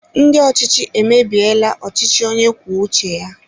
Ndị ọchịchị emebiela ọchịchị onye kwuo uche ya